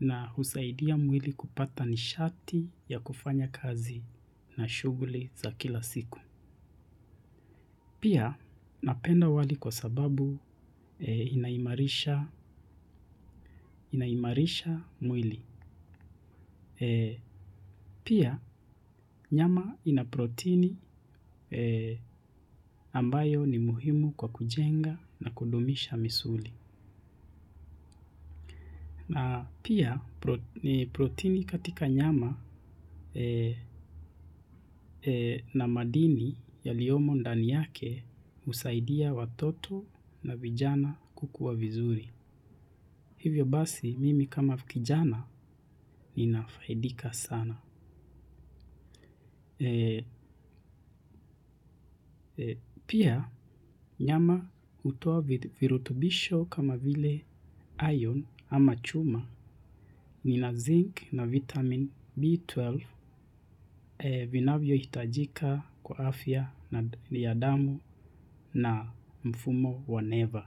na husaidia mwili kupata nishati ya kufanya kazi na shughuli za kila siku. Pia napenda wali kwa sababu inaimarisha mwili. Pia nyama ina proteini ambayo ni muhimu kwa kujenga na kudumisha misuli. Na pia, protini katika nyama na madini yaliyomo ndani yake husaidia watoto na vijana kukua vizuri. Hivyo basi, mimi kama kijana ninafaidika sana. Pia, nyama hutoa virutubisho kama vile iron ama chuma. Lina zinc na vitamini B12 vinavyohitajika kwa afya ya damu na mfumo wa never.